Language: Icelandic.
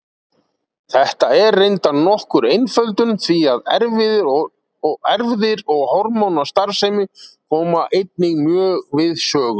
Þetta er reyndar nokkur einföldun því að erfðir og hormónastarfsemi koma einnig mjög við sögu.